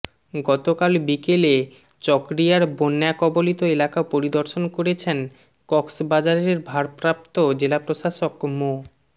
গতকাল বিকেলে চকরিয়ার বন্যাকবলিত এলাকা পরিদর্শন করেছেন কক্সবাজারের ভারপ্রাপ্ত জেলা প্রশাসক মো